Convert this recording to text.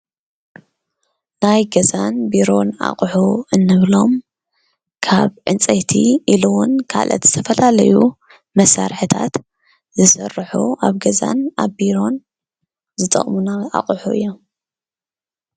ናይ ገዛን ቢሮን ኣቁሑ እንብሎም ካብ ዕንፀይቲ ኢሉ እውን ካልኦት ዝተፈላለዩ መሳርሒታት ዝስርሑ ኣብ ገዛን ኣብ ቢሮን ዝጠቅሙና ኣቁሑ እዮም፡፡